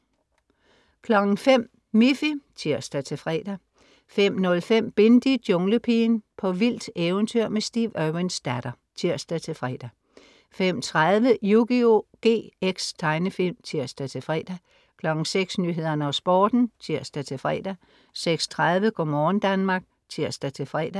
05.00 Miffy (tirs-fre) 05.05 Bindi: Junglepigen. På vildt eventyr med Steve Irwins datter (tirs-fre) 05.30 Yugioh GX. Tegnefilm (tirs-fre) 06.00 Nyhederne og Sporten (tirs-fre) 06.30 Go' morgen Danmark (tirs-fre)